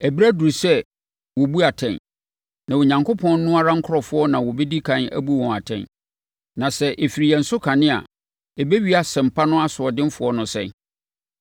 Ɛberɛ aduru sɛ wɔbu atɛn, na Onyankopɔn no ara nkurɔfoɔ na wɔbɛdi kane abu wɔn atɛn. Na sɛ ɛfiri yɛn so kane a, ɛbɛwie Asɛmpa no asoɔdenfoɔ no sɛn?